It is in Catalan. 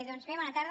doncs bé bona tarda